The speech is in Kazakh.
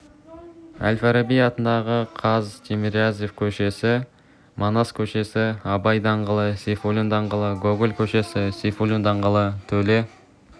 әл-фараби атындағы қаз тимирязев көшесі манас көшесі абай даңғылы сейфуллин даңғылы гоголь көшесі сейфуллин даңғылы төле